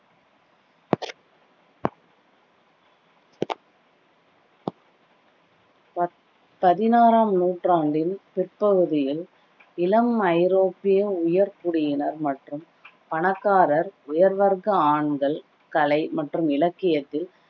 ப~ பதினாறாம் நூற்றாண்டின் பிற்பகுதியில் இளம் ஐரோப்பிய உயர்குடியினர் மற்றும் பணக்கார உயர்வர்க்க ஆண்கள் கலை மற்றும் இலக்கியத்தில்